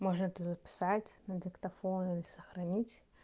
можно это записать на диктофон или сохранить